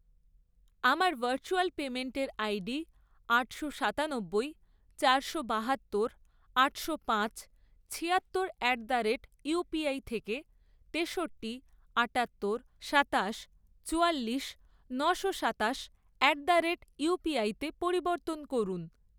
আমার ভার্চুয়াল পেমেন্টের আইডি আটশো সাতানব্বই ,চারশো বাহাত্তর, আটশো পাঁচ, ছিয়াত্তর অ্যাট দ্য রেট ইউপিআই থেকে তেষট্টি, আটাত্তর, সাতাশ, চুয়াল্লিশ, নশো সাতাশ অ্যাট দ্য রেট ইউপিআইতে পরিবর্তন করুন।